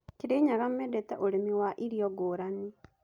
Kirinyaga mendete ũrĩmi wa irio ngũrani.